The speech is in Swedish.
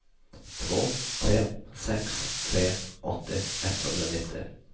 två tre sex tre åttio etthundranittio